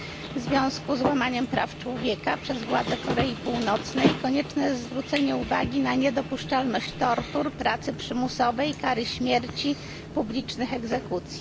W związku z łamaniem praw człowieka przez władze Korei Północnej konieczne jest zwrócenie uwagi na niedopuszczalność tortur, pracy przymusowej, kary śmierci, publicznych egzekucji.